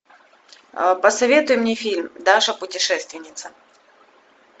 посоветуй мне фильм даша путешественница